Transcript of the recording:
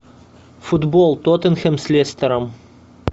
футбол тоттенхэм с лестером